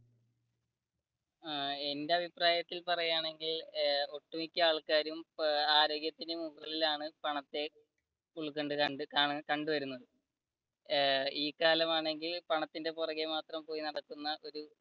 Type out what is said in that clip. ആഹ് എന്റെ അഭിപ്രായത്തിൽ പറയുകയാണെങ്കിൽ ഒട്ടു മിക്യ ആൾക്കാരും ആരോഗ്യത്തിനു മുകളിലാണ് പണത്തെ ഉൾകൊണ്ടകണ്ടുവരുന്നത് ഈ കാലമാണെങ്കിൽ പണത്തിന്റെ പുറകെ മാത്രം പോയി നടക്കുന്ന ഒരു